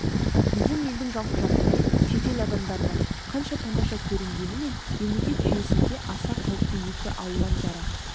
біздің елдің жалпы жағдайы шетел адамдарына қанша тамаша көрінгенімен мемлекет жүйесінде аса қауіпті екі алуан жара